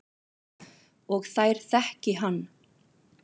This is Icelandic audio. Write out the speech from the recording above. Og þær þekki hann.